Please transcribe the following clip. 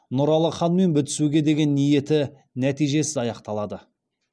нұралы ханмен бітісуге деген ниеті нәтижесіз аяқталады